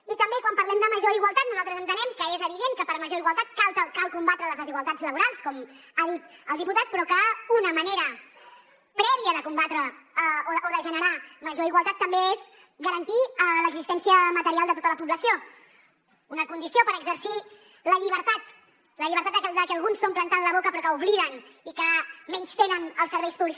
i també quan parlem de major igualtat nosaltres entenem que és evident que per a una major igualtat cal combatre les desigualtats laborals com ha dit el diputat però que una manera prèvia de generar major igualtat també és garantir l’existència material de tota la població una condició per exercir la llibertat la llibertat de que alguns s’omplen tant la boca però que obliden i que menystenen els serveis públics